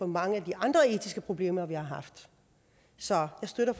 mange af de andre etiske problemer vi har haft så jeg støtter